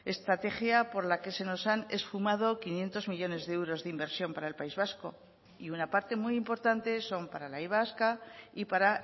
estrategia por la que se nos han esfumado quinientos millónes de euros de inversión para el país vasco y una parte muy importante son para la y vasca y para